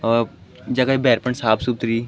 और जगह भैर फुंड साफ़ सुथरी ।